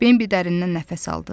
Binbi dərindən nəfəs aldı.